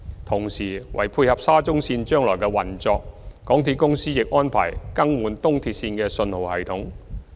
同時，為配合沙中線將來的運作，港鐵公司亦安排更換東鐵線的信號系統。